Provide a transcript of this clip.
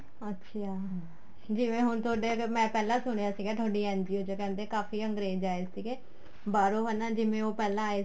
ਅੱਛਾ ਜਿਵੇਂ ਹੁਣ ਤੁਹਾਡੇ ਮੈਂ ਅਗਰ ਸੁਣਿਆ ਸੀ ਤੁਹਾਡੀ NGO ਚ ਕਹਿੰਦੇ ਕਾਫ਼ੀ ਅੰਗਰੇਜ ਆਏ ਸੀਗੇ ਬਹਾਰੋ ਜਿਵੇਂ ਉਹ ਪਹਿਲਾਂ ਆਏ